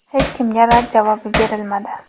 Hech kimga rad javobi berilmadi.